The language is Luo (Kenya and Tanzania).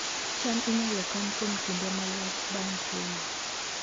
cham inyalo kan kuom kinde malach bang' keyo